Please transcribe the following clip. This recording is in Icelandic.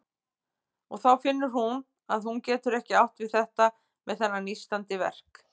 Og þá finnur hún að hún getur ekki átt við þetta með þennan nístandi verk.